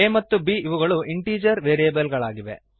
a ಮತ್ತು ಬ್ ಇವುಗಳು ಇಂಟೀಜರ್ ವೇರಿಯಬಲ್ ಗಳಾಗಿವೆ